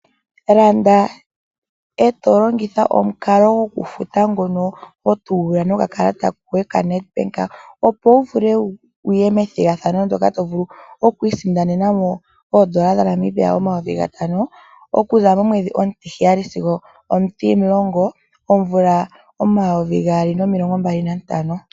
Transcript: Landa e to longitha omukalo gokufuta ngono ho longitha okakalata koye kaNedbank, opo wu vule wu ye methigathano mono to vulu oku isindanena mo oodola N$ 5000 okuza momwedhi omutiheyali sigo omutimulongo momumvo omayovi gaali nomilongo mbali nantano.